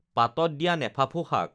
পাতত দিয়া নেফাফু শাক